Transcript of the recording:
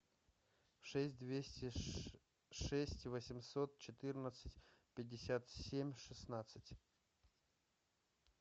шесть двести шесть восемьсот четырнадцать пятьдесят семь шестнадцать